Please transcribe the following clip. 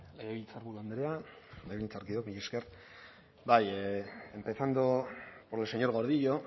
legebiltzarburu andrea legebiltzarkideok mila esker bai empezando por el señor gordillo